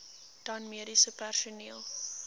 dan mediese personeel